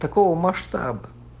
такого масштаба